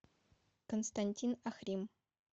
константин ахрим